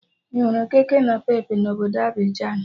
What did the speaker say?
Ị hụrụ kekenapepe na obodo Abịjan?